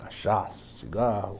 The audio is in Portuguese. Cachaça, cigarro.